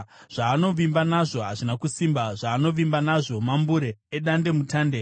Zvaanovimba nazvo hazvina kusimba, zvaanovimba nazvo mambure edandemutande.